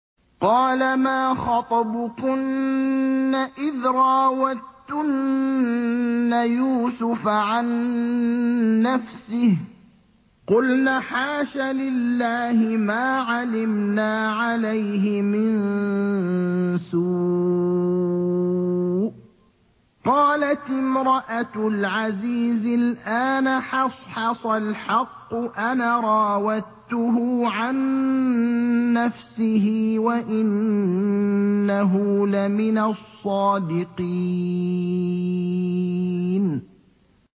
قَالَ مَا خَطْبُكُنَّ إِذْ رَاوَدتُّنَّ يُوسُفَ عَن نَّفْسِهِ ۚ قُلْنَ حَاشَ لِلَّهِ مَا عَلِمْنَا عَلَيْهِ مِن سُوءٍ ۚ قَالَتِ امْرَأَتُ الْعَزِيزِ الْآنَ حَصْحَصَ الْحَقُّ أَنَا رَاوَدتُّهُ عَن نَّفْسِهِ وَإِنَّهُ لَمِنَ الصَّادِقِينَ